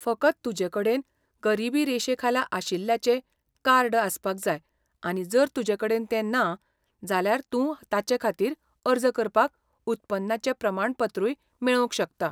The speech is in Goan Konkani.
फकत तुजेकडेन गरिबी रेशेखाला आशिल्ल्याचें कार्ड आसपाक जाय आनी जर तुजेकडेन तें ना, जाल्यार तूं ताचेखातीर अर्ज करपाक उत्पन्नाचें प्रमाणपत्रूय मेळोवंक शकता.